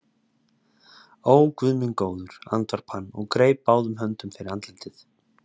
Ó, Guð minn góður, andvarpaði hann og greip báðum höndum fyrir andlitið.